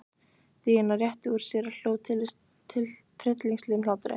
Daðína rétti úr sér og hló tryllingslegum hlátri.